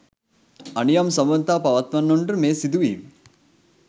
අනියම් සබඳතා පවත්වන්නවුන්ට මේ සිදුවීම